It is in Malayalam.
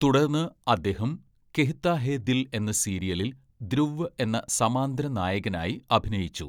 തുടർന്ന്, അദ്ദേഹം കെഹ്താ ഹേ ദിൽ എന്ന സീരിയലിൽ ധ്രുവ് എന്ന സമാന്തര നായകനായി അഭിനയിച്ചു.